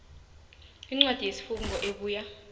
incwadi yesifungo ebuya